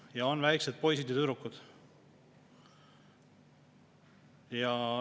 Ja on väikesed poisid ja tüdrukud.